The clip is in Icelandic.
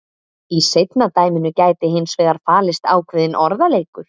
Í seinna dæminu gæti hins vegar falist ákveðinn orðaleikur.